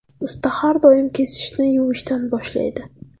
Usta har doim kesishni yuvishdan boshlaydi.